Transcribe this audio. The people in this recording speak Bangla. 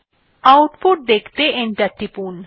আউটপুট দেখতে এন্টার টিপুন